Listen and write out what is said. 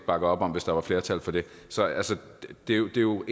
bakke op om hvis der var flertal for det så det er jo